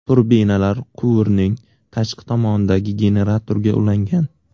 Turbinalar quvurning tashqi tomonidagi generatorga ulangan.